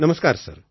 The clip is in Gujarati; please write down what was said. નમસ્કાર સર